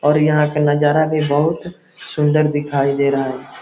और यहाँ के नजारा भी बहुत सुंदर दिखाई दे रहा है।